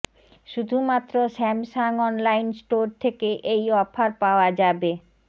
শুধুমাত্র Samsung online store থেকে এই অফার পাওয়া যাবে